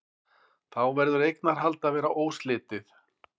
Þá verður eignarhald að vera óslitið.